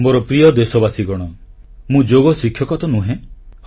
ମୋର ପ୍ରିୟ ଦେଶବାସୀଗଣ ମୁଁ ଯୋଗ ଶିକ୍ଷକ ତ ନୁହେଁ